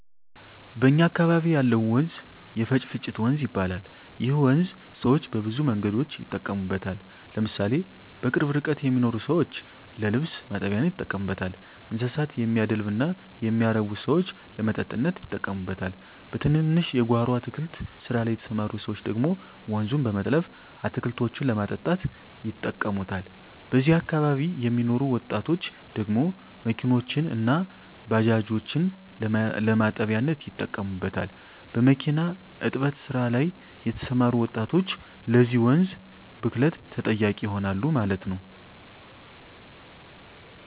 በእኛ አካበቢ ያለው ወንዝ የፈጭፍጭት ወንዝ ይባላል ይህ ወንዝ ሰወች በብዙ መንገዶች ይጠቀሙበታል ለምሳሌ በቅርብ ርቀት የሚኖሩ ሰወች ለልብስ ማጠቢያነት ይጠቀሙበታል: እንስሳት የሚያደልብ እና የሚያረብ ሰወች ለመጠጥነት ይጠቀሙበታል በትንንሽ የጎሮ አትክልት ስራ ላይ የተስማሩ ሰወች ደግሞ ወንዙን በመጥለፍ አትክልቶችን ለማጠጣት ይጠቀሙታል በዚህ አካባቢ የሚኖሩ ወጣቶች ደግሞ መኪኖችን እና ባጃጆችን ለማጠቢያነት ይጠቀሙበታል። በሚኪና እጥበት ስራ ላይ የተሰማሩ ወጣቶች ለዚህ ወንዝ ብክለት ተጠያቂ ይሆናሉ ማለት ነው